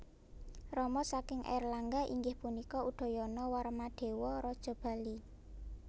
Rama saking Airlangga inggih punika Udayana Warmadewa raja Bali